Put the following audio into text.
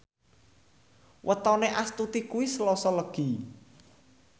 wetone Astuti kuwi Selasa Legi